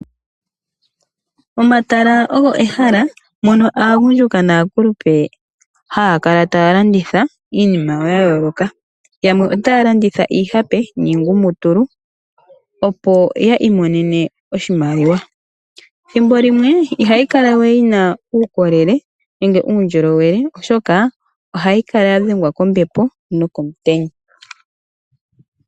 Omatala olyo ehala mono aagundjuka naakulupe haya kala taya landitha iinima yayooloka. Yamwe otaya landitha iihape niigumutulu opo yi imonene oshimaliwa. Thimbo limwe ihayi kala we yina uukolele nenge uundjolowele oshoka ohayi kala yadhengwa kombepo nokomutenya.